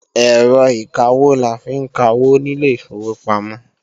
Ẹ̀rọ ìkawó la fi ń kawó nílé ìfowópamọ́